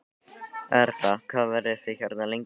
Erla: Hvað verðið þið hérna lengi?